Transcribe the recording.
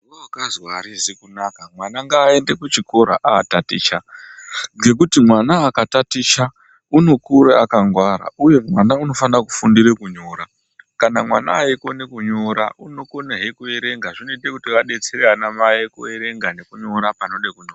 We akazwa arizi kunaka mwana nga ende ku chikora a taticha ngekuti mwana aka taticha uno kure aka ngwara uye mwana uno fana ku fundire ku nyora kana mwana eyi kone kunyora uno kone hee ku erenga zvino ita kuti va detsere ana mai ku erenga neku nyora panode kunyorwa.